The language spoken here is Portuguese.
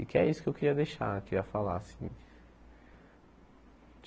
E que é isso que eu queria deixar, queria falar, assim.